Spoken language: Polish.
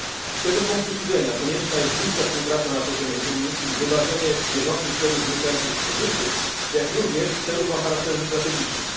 Z tego punktu widzenia konieczna jest bliska współpraca na poziomie Unii i wywarzenie bieżących celów wynikających z kryzysu, jak również celów o charakterze strategicznym.